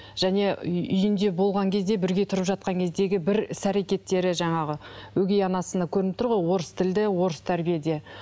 және үй үйінде болған кезде бірге тұрып жатқан кездегі бір іс әрекеттері жаңағы өгей анасына көрініп тұр ғой орыс тілді орыс тәрбиеде